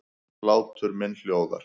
Hlátur minn hljóðar.